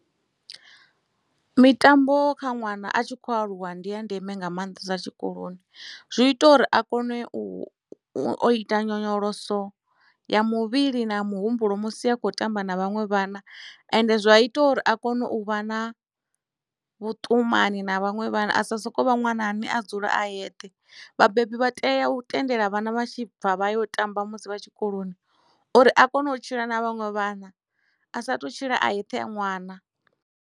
Mitambo kha ṅwana a tshi khou aluwa ndi ya ndeme nga maanḓesa tshikoloni zwi ita uri a kone u o ita nyonyoloso ya muvhili na muhumbulo musi a khou tamba na vhanwe vhana ende zwa ita uri a kone u vha na vhuṱumani na vhaṅwe vhana a sa soko vha ṅwana a ne a dzula a yeṱhe vhabebi vha tea u tendela vhana vha tshi bva vha yo tamba musi vha tshikoloni uri a kone u tshila na vhaṅwe vhana a sa tu tshila a yeṱhe ṅwana.